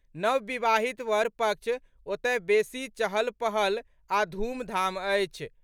नवविवाहित वर पक्ष ओतय बेसी चहल पहल आ धूमधाम अछि।